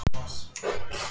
Þín Sunna.